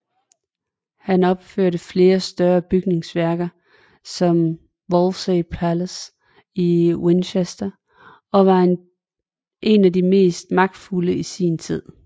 Han opførte flere større bygningsværker som Wolvesey Palace i Winchester og var en af de mest magtfulde i sin tid